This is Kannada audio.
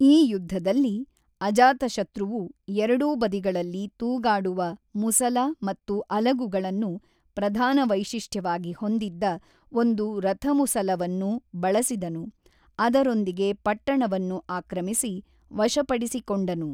ಈ ಯುದ್ಧದಲ್ಲಿ, ಅಜಾತಶತ್ರುವು ಎರಡೂ ಬದಿಗಳಲ್ಲಿ ತೂಗಾಡುವ ಮುಸಲ ಮತ್ತು ಅಲಗುಗಳನ್ನು ಪ್ರಧಾನ ವೈಶಿಷ್ಟ್ಯವಾಗಿ ಹೊಂದಿದ್ದ ಒಂದು ರಥಮುಸಲವನ್ನು ಬಳಸಿದನು, ಅದರೊಂದಿಗೆ ಪಟ್ಟಣವನ್ನು ಆಕ್ರಮಿಸಿ ವಶಪಡಿಸಿಕೊಂಡನು.